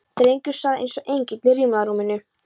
Drengurinn svaf eins og engill í rimlarúminu.